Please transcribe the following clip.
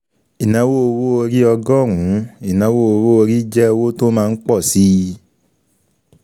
Ìnáwó owó orí ọgọ́rùn-ún, ìnáwó owó orí jẹ́ owó tó má ńpọ̀ síi.